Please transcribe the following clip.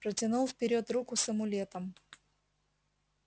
протянул вперёд руку с амулетом